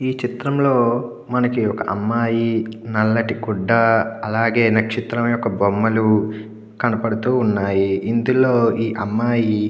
ఈ చిత్రంలో మనకి ఒక అమ్మాయి నల్లటి గుడ్డ అలాగే నక్షత్రం యొక్క బొమ్మలు కనబడుతున్నాయి. ఇందులో ఈ అమ్మాయి --